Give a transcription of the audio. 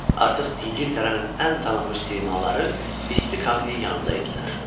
Artıq İngiltərənin ən tanınmış simaları isti kaminin yanında idilər.